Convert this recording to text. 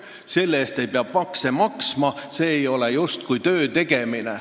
Selle pealt ei pea makse maksma, see justkui ei ole töötegemine.